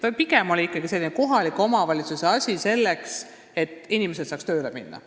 Alusharidus on pigem olnud kohaliku omavalitsuse asi, selleks et inimesed saaks tööle minna.